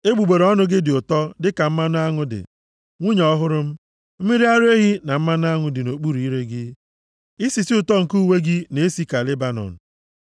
Egbugbere ọnụ gị dị ụtọ dịka mmanụ aṅụ dị, nwunye ọhụrụ m, mmiri ara ehi na mmanụ aṅụ dị nʼokpuru ire gị, isisi ụtọ nke uwe gị na-esi ka Lebanọn